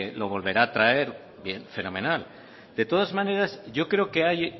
lo volverá a traer bien fenomenal de todas maneras yo creo que hay